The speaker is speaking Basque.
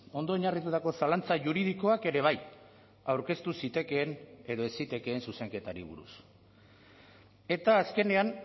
ondo oinarritutako zalantza juridikoak ere bai aurkeztu zitekeen edo ez zitekeen zuzenketari buruz eta azkenean